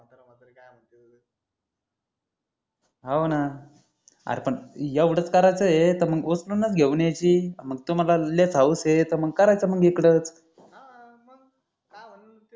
हाव न अरे पण एवढंच करायचं हे तर मग उचलूनच घेऊन यायची मग तुम्हाला लय हौस ये तर करायचं मग इकडचं हा मग काय